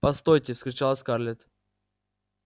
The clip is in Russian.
постойте вскричала скарлетт